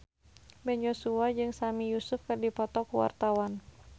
Ben Joshua jeung Sami Yusuf keur dipoto ku wartawan